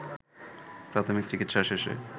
প্রাথমিক চিকিৎসা শেষে